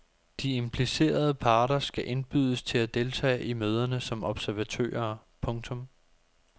De implicerede parter skal indbydes til at deltage i møderne som observatører. punktum